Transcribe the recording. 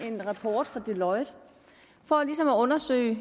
en rapport fra deloitte for at undersøge